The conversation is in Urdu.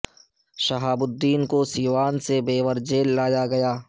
شہاب الدین کو سیوان سے بیور جیل لایا گیا